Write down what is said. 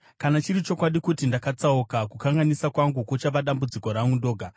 Kana chiri chokwadi kuti ndakatsauka, kukanganisa kwangu kuchava dambudziko rangu ndoga.